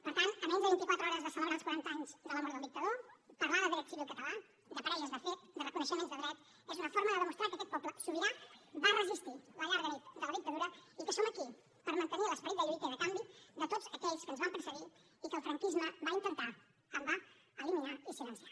per tant a menys de vint i quatre hores de celebrar els quaranta anys de la mort del dictador parlar de dret civil català de parelles de fet de reconeixement de drets és una forma de demostrar que aquest poble sobirà va resistir la llarga nit de la dictadura i que som aquí per mantenir l’esperit de lluita i de canvi de tots aquells que ens van precedir i que el franquisme va intentar en va eliminar i silenciar